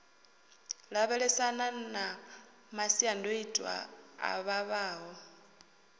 lavhelesana na masiandoitwa a vhavhaho